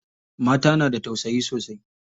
Mata na da tausayi sosai.